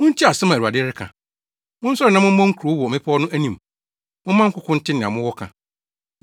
Muntie asɛm a Awurade reka: “Monsɔre na mommɔ mo nkuro wɔ mmepɔw no anim; momma nkoko nte nea mowɔ ka.